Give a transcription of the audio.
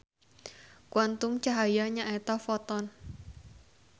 Kuantum cahaya nyaeta foton.